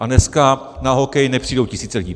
A dneska na hokej nepřijdou tisíce lidí.